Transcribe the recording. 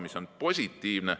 See on positiivne.